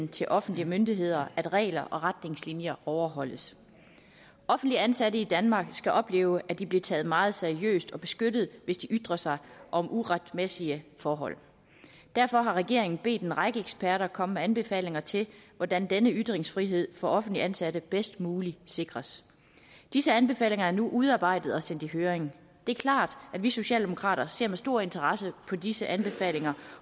til offentlige myndigheder at regler og retningslinjer overholdes offentligt ansatte i danmark skal opleve at de bliver taget meget seriøst og bliver beskyttet hvis de ytrer sig om uretmæssige forhold derfor har regeringen bedt en række eksperter komme med anbefalinger til hvordan denne ytringsfrihed for offentligt ansatte bedst muligt sikres disse anbefalinger er nu udarbejdet og er sendt i høring det er klart at vi socialdemokrater ser med stor interesse på disse anbefalinger